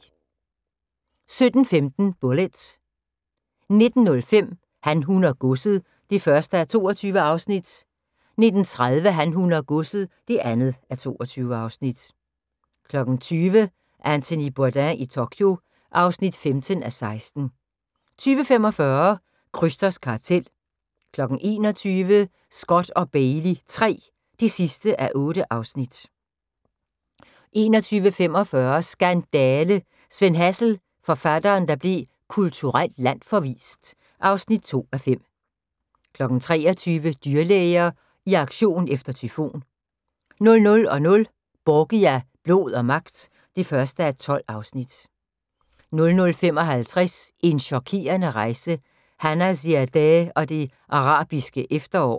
17:15: Bullitt 19:05: Han, hun og godset (1:22) 19:30: Han, hun og godset (2:22) 20:00: Anthony Bourdain i Tokyo (15:16) 20:45: Krysters kartel 21:00: Scott & Bailey III (8:8) 21:45: Skandale! – Sven Hazel, forfatteren der blev kulturelt landsforvist (2:5) 23:00: Dyrlæger i aktion efter tyfon 00:00: Borgia – blod og magt (1:12) 00:55: En chokerende rejse – Hanna Ziadeh og det arabiske efterår